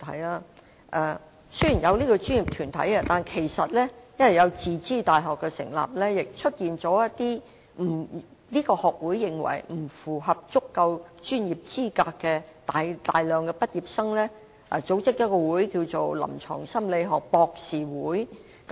雖然現已設立有關的專業團體，但由於一些自資大學的畢業生被此學會認為不符合足夠專業資格，他們因而自行成立一個名為臨床心理學博士協會的學會。